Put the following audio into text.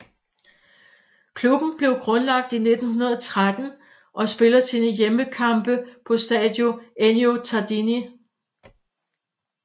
Klubben blev grundlagt i 1913 og spiller sine hjemmekampe på Stadio Ennio Tardini